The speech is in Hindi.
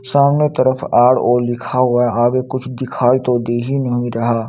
सामने तरफ आर_ओ लिखा हुआ है आगे कुछ दिखाई तो दे ही नहीं रहा।